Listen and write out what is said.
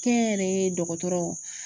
Kɛnyɛrɛye dɔgɔtɔrɔw